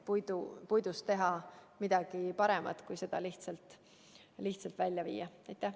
Puidust tuleb teha midagi paremat, mitte seda lihtsalt välja vedada.